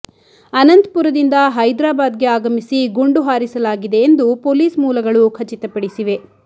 ಅನಂತ್ಪುರದಿಂದ ಹೈದ್ರಾಬಾದ್ಗೆ ಆಗಮಿಸಿ ಗುಂಡು ಹಾರಿಸಲಾಗಿದೆ ಎಂದು ಪೊಲೀಸ್ ಮೂಲಗಳು ಖಚಿತಪಡಿಸಿವೆ